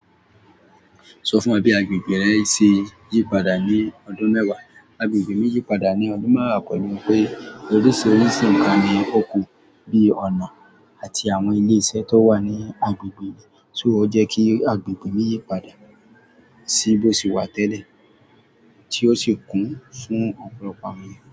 Sọ fún wa bí agbègbè rẹ ṣe yí padà ní ọdún mẹ́wàá. Agbègbè mi yí padà ní ọdún mẹ́wàá pẹ̀lú pé oríṣiríṣi nǹkan ní o kùn bí i ọ̀nà àti àwọn ilé iṣẹ́ tó wà ní agbègbè mi, so ó jẹ́ kí agbègbè mi yí padà sí bó ṣe wà tẹ́lẹ̀ tí ó sì kún fún ọ̀pọ̀lọpọ̀ àwọn ènìyàn.